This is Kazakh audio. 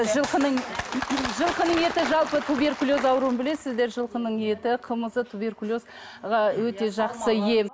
жылқының жылқының еті жалпы туберкулез ауруын білесіздер жылқының еті қымызы туберкулез ға өте жақсы ем